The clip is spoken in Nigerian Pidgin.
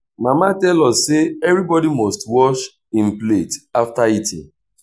mama tell us say everybodi must wash im plate after eating.